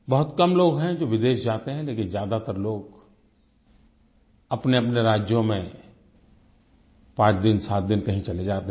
बहुत कम लोग हैं जो विदेश जाते हैं लेकिन ज्यादातर लोग अपनेअपने राज्यों में 5 दिन 7 दिन कहीं चले जाते हैं